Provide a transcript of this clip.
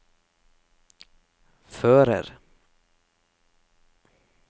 fører